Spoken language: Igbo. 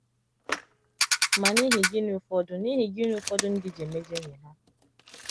Ma n’ihi gịnị ụfọdụ n’ihi gịnị ụfọdụ ndị ji emejọ enyi ha?